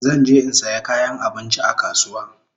Zan je in saya kayan abinchi a kasuwa